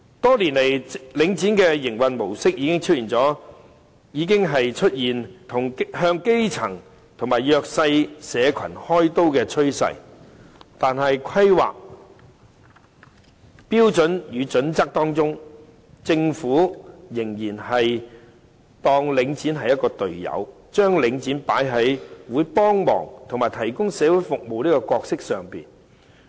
多年前領展的營運模式已經出現向基層及弱勢社群開刀的趨勢，但在規劃標準與準則中，政府仍然當領展是"隊友"，將領展放在會幫忙提供社會服務這角色上。